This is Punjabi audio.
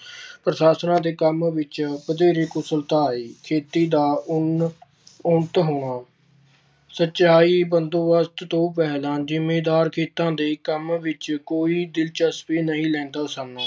ਪ੍ਰਸ਼ਾਸ਼ਨਾਂ ਦੇ ਕੰਮ ਵਿੱਚ ਵਧੇਰੇ ਕੁਸ਼ਲਤਾ ਆਈ ਖੇਤੀ ਦਾ ਉਨ~ ਉੱਨਤ ਹੋਣਾ, ਸਚਾਈ ਬੰਦੋਬਸਤ ਤੋਂ ਪਹਿਲਾਂ ਜ਼ਿੰਮੀਦਾਰ ਖੇਤਾਂ ਦੇ ਕੰਮ ਵਿੱਚ ਕੋਈ ਦਿਲਚਸਪੀ ਨਹੀਂ ਲੈਂਦਾ ਸਨ।